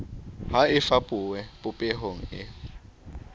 ha e fapohe popehong e